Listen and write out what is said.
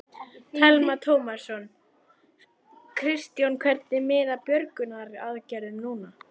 Telma Tómasson: Kristján, hvernig miðar björgunaraðgerðum núna?